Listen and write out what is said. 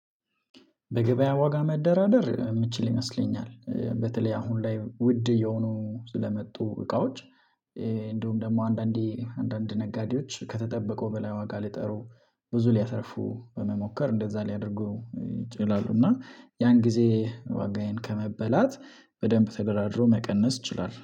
ለገበያ ዋጋ መደራደር የምችል ይመስለኛል በተለይ አሁን ላይ ውድ እየሆኑ ስለመጡ እቃዎች። እንደውም ደግሞ አንዳንዴ አንዳንድ ነጋዴዎች ከተጠበቀው በላይ ዋጋ ሊጠሩ ብዙ ሊያተርፉ በመሞከር እንደዛ ሊያደርጉ ይችላሉ። እና ያን ጊዜ ዋጋዬን ከመበላት በደንብ ተደራድሮ መቀነስ እችላለው